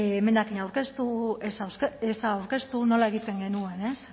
emendakina aurkeztu ez aurkeztu nola egiten genuen ez